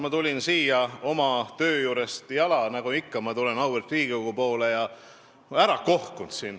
Ma tulin siia oma töö juurest jala, nagu ikka ma tulen auväärt Riigikogu poole, ja ma olin päris kohkunud.